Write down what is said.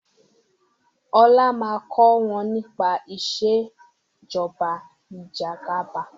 ọlá má kò wón nípa Ìṣèjọba Ìjẹgàba